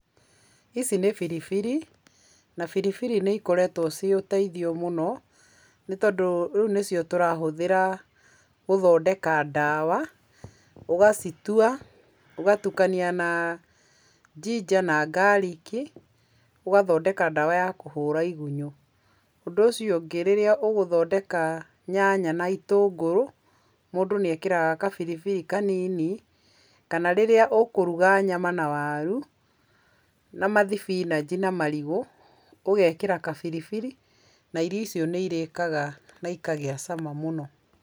Ici nĩ biribiri na biribiri nĩikoretwo ciũteithio mũno nĩtondũ rĩu nĩcio tũrahũthĩra gũthondeka ndawa . ũgacitua , ũgatukania na njinja na ngarĩki ũgathondeka ndawa ya kũhũra igunyũ. ũndũ ũcio ũngĩ, rĩrĩa ũgũthondeka nyanya na itũngũrũ mũndũ nĩekĩraga gabiribiri kanini. Kana rĩrĩa ũkũruga nyama na waru na mathibinanji na marigũ, nairio icio nĩirĩkaga na ikagia cama mũno.